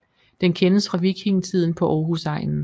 Den kendes fra vikingetiden på Aarhusegnen